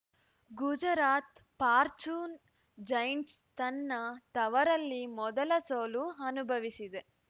Gujarat Fortune Giants ತನ್ನ ತವರಲ್ಲಿ ಮೊದಲ ಸೋಲು ಅನುಭವಿಸಿದೆ